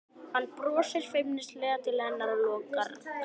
Hann brosir feimnislega til hennar og lokar kassanum.